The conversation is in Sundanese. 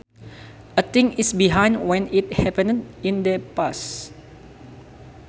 A thing is behind when it happened in the past